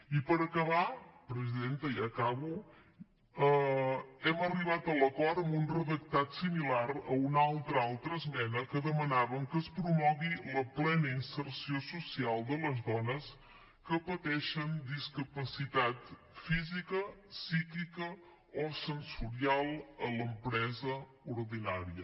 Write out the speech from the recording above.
i per acabar presidenta ja acabo hem arribat a l’acord amb un redactat similar a una altra esmena que demanava que es promogui la plena inserció social de les dones que pateixen discapacitat física psíquica o sensorial a l’empresa ordinària